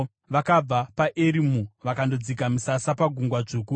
Vakabva paErimu vakandodzika misasa paGungwa Dzvuku.